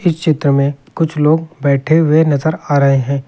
इस चित्र में कुछ लोग बैठे हुए नजर आ रहे हैं।